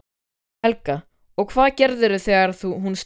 Helga: Og hvað gerirðu þegar hún stekkur á þig?